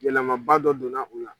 Yɛlɛmaba dɔ donna o la.